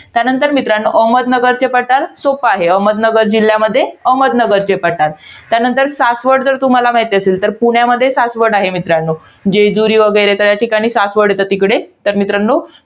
त्यानंतर मित्रांनो, अहमदनगरचे पठार. सोप्प आहे. अहमदनगर जिल्ह्यामध्ये, अहमदनगरचे पठार आहे. त्यानंतर सासवड जर तुम्हाला माहित असेल. तर पुण्यामध्ये, सासवड आहे मित्रांनो. जेजुरी वगैरे त्या ठिकाणी सासवड येतं तिकडे. तर मित्रांनो,